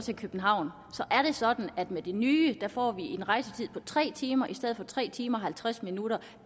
til københavn er det sådan at med det nye får vi en rejsetid på tre timer i stedet for tre timer og halvtreds minutter